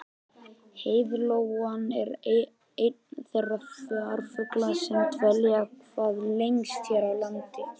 heiðlóan er einn þeirra farfugla sem dvelja hvað lengst hér á landi